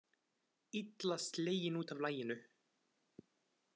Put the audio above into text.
Illa sleginn út af laginu.